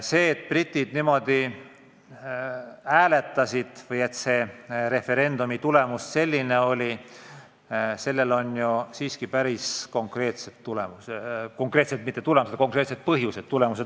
Sellel, et britid niimoodi hääletasid, et referendumi tulemus selline oli, on siiski päris konkreetsed põhjused.